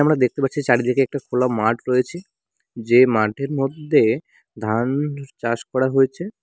দেখতে পাচ্ছি চারদিকে একটা খোলা মাঠ রয়েছে যেই মাঠের মধ্যে ধান চাষ করা হয়েছে।